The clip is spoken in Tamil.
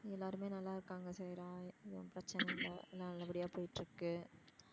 எல்லாருமே நல்லா இருக்காங்க சைரா எதும் பிரச்சனை இல்ல எல்லாம் நல்ல படியா போயிட்டு இருக்கு.